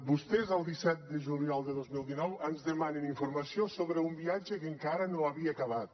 vostès el disset de juliol de dos mil dinou ens demanen informació sobre un viatge que encara no havia acabat